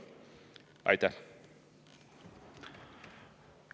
Aitäh!